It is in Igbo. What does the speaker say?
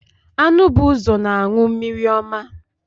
Anụ bụ ụzọ na anụ mmiri ọma.